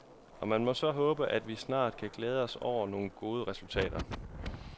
Og man må så håbe, at vi snart kan glæde os over nogle gode resultater.